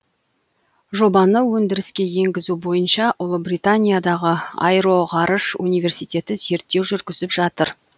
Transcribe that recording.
жобаны өндіріске енгізу бойынша ұлыбританиядағы аэроғарыш университеті зерттеу жүргізіп жатыр